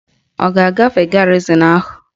Ọ ga-agafe garịzịn ahụ?